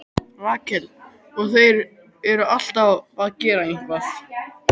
Rakel: Og þeir eru alltaf að gera eitthvað.